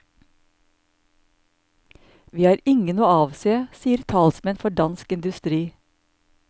Vi har ingen å avse, sier talsmenn for dansk industri.